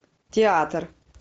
театр